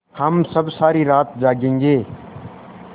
हम सब सारी रात जागेंगे